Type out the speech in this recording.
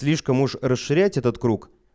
слишком уж расширять этот круг